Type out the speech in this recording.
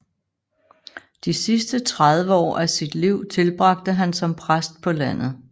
De sidste 30 år af sit liv tilbragte han som præst på landet